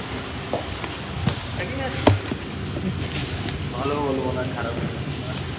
ঠিকঠাক ই আছে ভালো বলবো না খারাপও বলবো না